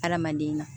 Hadamaden na